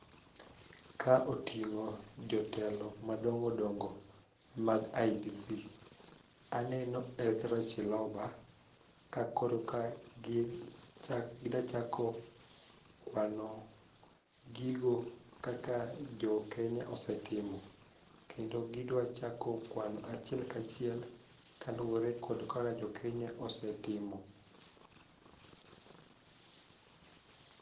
Ka oting'o jotelo madongodongo mag IEBC. Aneno Ezra Chiloba ka koro ka gidachako kwano gigo kaka jokenya osetimo kendo gidwachako kwano achiel kachiel kaluwore kod kaka jokenya osetimo.